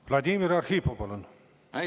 Vladimir Arhipov, palun!